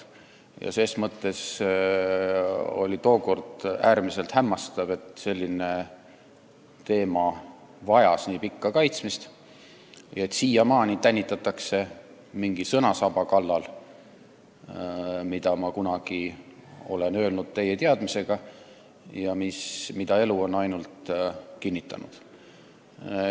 Ja ses mõttes oli tookord äärmiselt hämmastav, et selline põhimõte vajas nii pikka kaitsmist ja et siiamaani tänitatakse mingi sõna kallal, mida ma kunagi olen öelnud täie teadmisega ja mida elu on ainult kinnitanud.